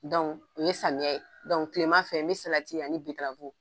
Dɔnku ni samiyɛ, dɔnku tile ma fɛ, n bɛ salati ani bitirafu